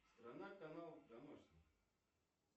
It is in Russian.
страна канал домашний